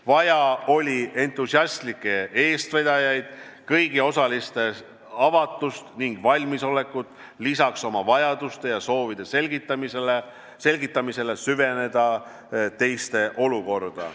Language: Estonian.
Vaja oli entusiastlikke eestvedajaid, kõigi osaliste avatust ning valmisolekut süveneda lisaks oma vajaduste ja soovide selgitamisele ka teiste olukorda.